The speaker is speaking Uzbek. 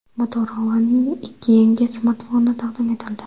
Motorola’ning ikki yangi smartfoni taqdim etildi.